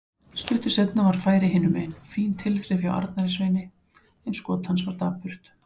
Stuttu seinna var færi hinumegin, fín tilþrif hjá Arnari Sveini en skot hans var dapurt.